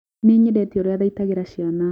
Nĩnyendete ũrĩa athaitagĩra ciana